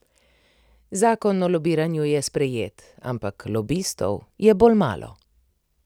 Zakon o lobiranju je sprejet, ampak lobistov je bolj malo.